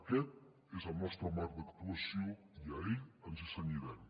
aquest és el nostre marc d’actuació i a ell ens cenyirem